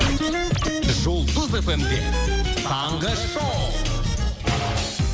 жұлдыз эф эм де таңғы шоу